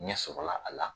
Ɲɛ sɔrɔla a la